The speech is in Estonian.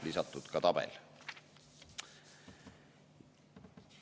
Lisatud on ka tabel.